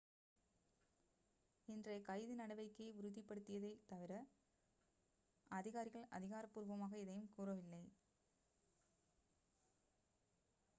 இன்றைய கைது நடவடிக்கையை உறுதிப்படுத்தியதைத் தவிர அதிகாரிகள் அதிகாரப்பூர்வமாக எதையும் கூறவில்லை